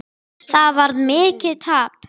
Það varð mikið tap.